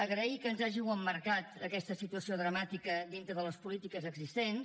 agrair que ens hàgiu emmarcat aquesta situació dramàtica dintre de les polítiques existents